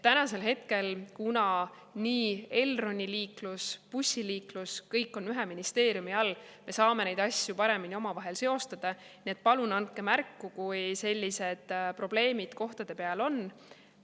Kuna praegu on nii Elroni liiklus kui ka bussiliiklus kõik ühe ministeeriumi all, siis me saame neid asju paremini omavahel seostada, nii et palun andke märku, kui sellised probleemid kohtade peal on.